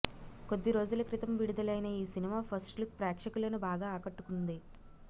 కొద్దీ రోజుల క్రితం విడుదలైన ఈ సినిమా ఫస్ట్ లుక్ ప్రేక్షకులను బాగా ఆకట్టుకుంది